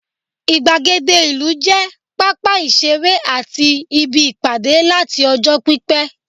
igbagede ìlú je papa isere ati ibi Ipade lat ọjọ pipẹ